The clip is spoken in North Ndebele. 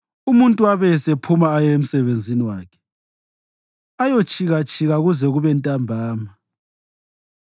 Umuntu abe esephuma aye emsebenzini wakhe, ayotshikatshika kuze kube ntambama.